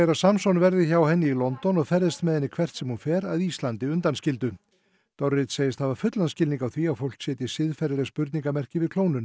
Samson verði hjá henni í London og ferðist með henni hvert sem hún fer að Íslandi undanskildu dorrit segist hafa fullan skilning á því að fólk setji siðferðisleg spurningarmerki við klónun